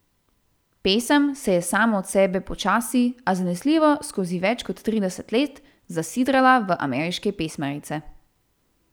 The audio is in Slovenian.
Pesem se je sama od sebe počasi, a zanesljivo skozi več kot trideset let zasidrala v ameriške pesmarice.